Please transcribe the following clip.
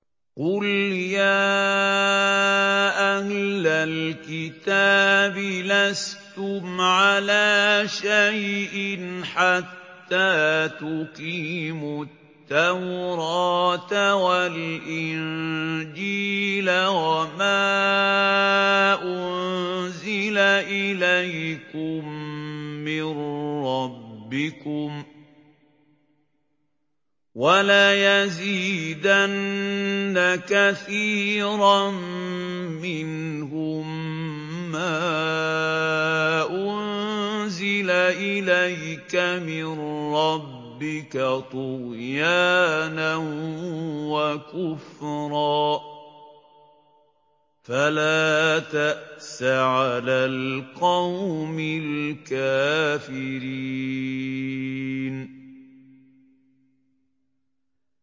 قُلْ يَا أَهْلَ الْكِتَابِ لَسْتُمْ عَلَىٰ شَيْءٍ حَتَّىٰ تُقِيمُوا التَّوْرَاةَ وَالْإِنجِيلَ وَمَا أُنزِلَ إِلَيْكُم مِّن رَّبِّكُمْ ۗ وَلَيَزِيدَنَّ كَثِيرًا مِّنْهُم مَّا أُنزِلَ إِلَيْكَ مِن رَّبِّكَ طُغْيَانًا وَكُفْرًا ۖ فَلَا تَأْسَ عَلَى الْقَوْمِ الْكَافِرِينَ